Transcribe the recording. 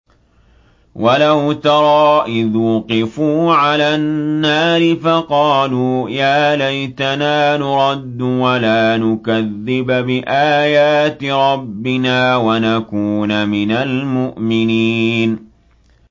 وَلَوْ تَرَىٰ إِذْ وُقِفُوا عَلَى النَّارِ فَقَالُوا يَا لَيْتَنَا نُرَدُّ وَلَا نُكَذِّبَ بِآيَاتِ رَبِّنَا وَنَكُونَ مِنَ الْمُؤْمِنِينَ